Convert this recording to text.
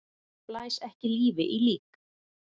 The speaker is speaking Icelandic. Blæs ekki lífi í lík!